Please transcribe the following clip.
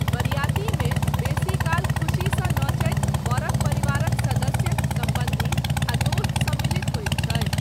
बरियातीमे बेसीकाल खुशीसँ नचैत बरक परिवारक सदस्य, सम्बन्धी आ दोस्त सम्मिलित होइत छथि।